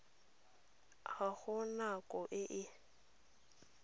ga go nako e e